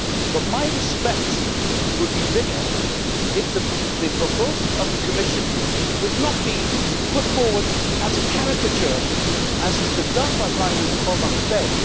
But my respect would be bigger if the proposals of the Commission were not put forward as a caricature, as has been done by Prime Minister Orbán today.